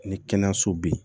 Ni kɛnɛyaso bɛ yen